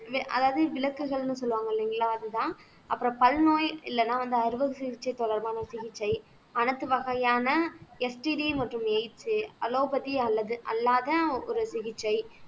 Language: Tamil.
அதாவது விலக்குகள்னு சொல்லுவாங்க இல்லைங்களா அதுதான் அப்புறம் பல் நோய் இல்லைன்னா வந்து அறுவை சிகிச்சை தொடர்பான சிகிச்சை அனைத்து வகையான மற்றும் எய்ட்ஸ் அலோபதி அல்லது அல்லாத ஒரு சிகிச்சை